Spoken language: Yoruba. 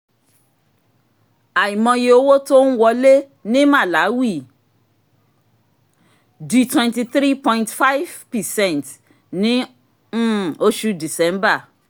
àìmọye owó tó ń wọlé ní màláwì di 23.5 percent ní um oṣù december